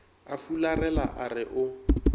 a fularela a re o